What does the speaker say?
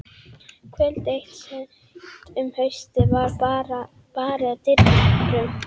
Kvöld eitt seint um haustið var barið að dyrum.